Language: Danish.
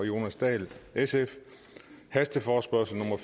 jonas dahl hasteforespørgsel nummer